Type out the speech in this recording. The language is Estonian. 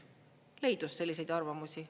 Leidus selliseid arvamusi.